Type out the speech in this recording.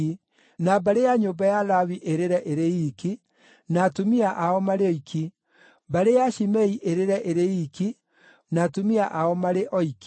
na mbarĩ ya nyũmba ya Lawi ĩrĩre ĩrĩ iiki, na atumia ao marĩ oiki, mbarĩ ya Shimei ĩrĩre ĩrĩ iiki, na atumia ao marĩ oiki,